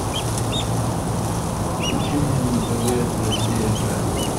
включи мне на тв россия к